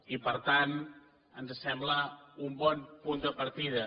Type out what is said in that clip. i per tant ens sembla un bon punt de partida